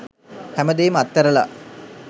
හැමදේම අත්ඇරලා